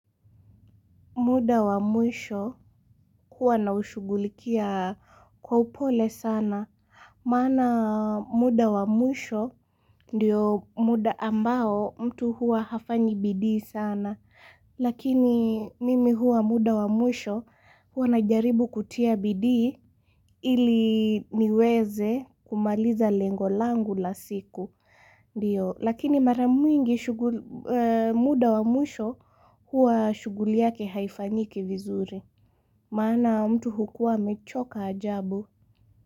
Muda wa mwisho huwa na ushughulikia kwa upole sana. Maana muda wa mwisho ndio muda ambao mtu huwa hafanyi bidii sana. Lakini mimi huwa muda wa mwisho huwa najaribu kutia bidi ili niweze kumaliza lengo langu la siku. Ndiyo, lakini mara mingi muda wa mwisho huwa shughuli yake haifanyiki vizuri. Maana mtu hukuwa amechoka ajabu.